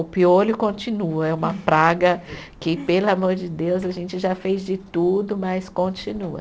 O piolho continua, é uma praga que, pelo amor de Deus, a gente já fez de tudo, mas continua.